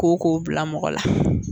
Koko bila mɔgɔ la